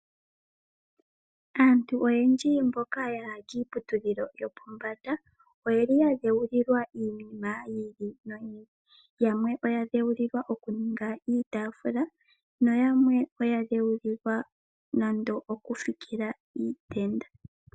Aantu oyendji mboka ya ya kiiputudhilo yo pombanda oyeli ya dhewulilwa iinima yiili noyiili, yamwe oya dhewulwa okuninga iitafula nayamwe oya dhewulilwa nande okufikila iitenda.